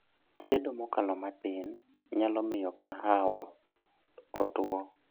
chiedo mokalo matin nyalo miyo kahawa otwoo